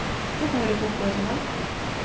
Þarna væri fólk á öllum aldri